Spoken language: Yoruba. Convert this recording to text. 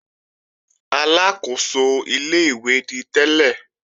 Aláàkóso ilé-ìwé ni tẹ́lẹ̀